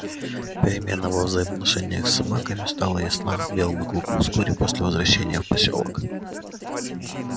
перемена во взаимоотношениях с собаками стала ясна белому клыку вскоре после возвращения в посёлок